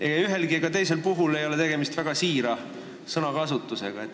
Ei ühel ega teisel puhul ei olnud tegemist väga siira sõnakasutusega.